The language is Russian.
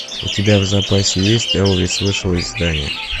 у тебя в запасе есть элвис вышел из здания